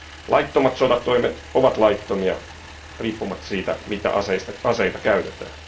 Laittomat sotatoimet ovat laittomia riippumatta siitä, mitä aseita käytetään.